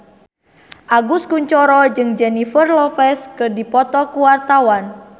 Agus Kuncoro jeung Jennifer Lopez keur dipoto ku wartawan